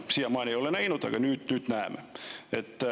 Siiamaani ei ole nähtud, aga nüüd nähakse.